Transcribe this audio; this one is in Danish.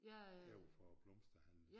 Overfor æ blomsterhandel